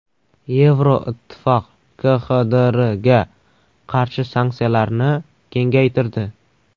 Yevroittifoq KXDRga qarshi sanksiyalarni kengaytirdi.